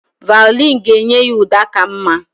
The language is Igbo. Vaịọlịn ga-enye ya ụda ka mma